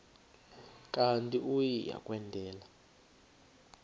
kanti uia kwendela